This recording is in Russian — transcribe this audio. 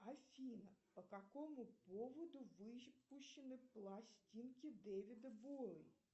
афина по какому поводу выпущены пластинки дэвида боуи